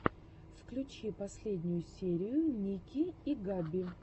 включи последнюю серию ники и габи